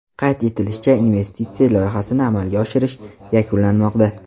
Qayd etilishicha, investitsiya loyihasini amalga oshirish yakunlanmoqda.